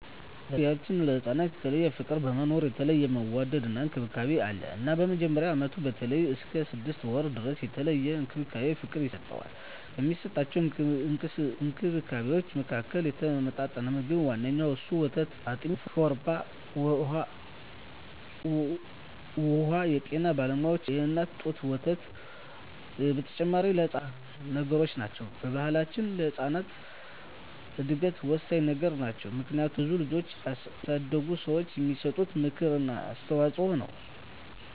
በገንፎ ቢያችን ለህፃናት የተለየ ፍቅር በመኖሩ የተለየ መወደድና እንክብካቤ አለ እናም በመጀመሪያ አመቱ በተለይም እስከ ስድስት ወሩ ድረስ የተለየ እንክብካቤና ፍቅር ይሰጠዋል። ከሚሰጠዉ እንክብካቤወች መካከልም የተመጣጠነ ምግብ ዋነኛዉ እነሱም፦ ወተት፣ አጥሚት፣ ገንፎ፣ ሾርባ አወ የጤና ባለሙያዋች የእናት ጡት ወተት በተጨማሪ ለህጻናት እድገት ወሳኚ ነገሮች ናቸው። በባሕላችንም ለህጻናት እድገት ወሳኚ ነገሮች ናቸው። ምክንያቱም ብዙ ልጆችን ያሳደጉ ሰዋች የሚሰጡት ምክር እና አስተዋጾ ነው።